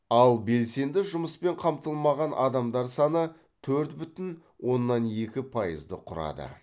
ал белсенді жұмыспен қамтылмаған адамдар саны төрт бүтін оннан екі пайызды құрады